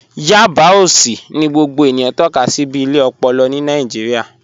Yábà òṣì ni gbogbo ènìyàn tọka sí bí ilẹ̀ òpòlò ni Nàìjíríà